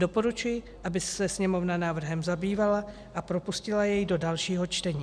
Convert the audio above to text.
Doporučuji, aby se Sněmovna návrhem zabývala a propustila jej do dalšího čtení.